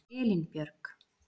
Elínbjörg